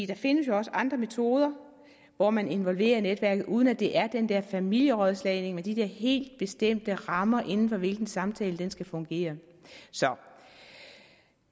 der findes jo også andre metoder hvor man involverer netværket uden at det er den der familierådslagning med de der helt bestemte rammer inden for hvilke en samtale skal fungere så